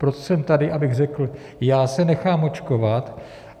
Proto jsem tady, abych řekl, já se nechám očkovat.